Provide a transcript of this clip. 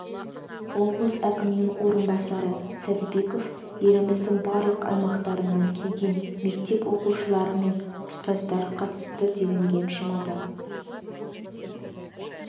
облыс әкімінің орынбасары сәдібеков еліміздің барлық аймақтарынан келген мектеп оқушылары және ұстаздар қатысты делінген жұмада